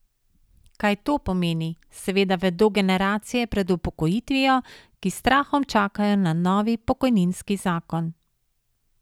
Kaj to pomeni, seveda vedo generacije pred upokojitvijo, ki s strahom čakajo na novi pokojninski zakon.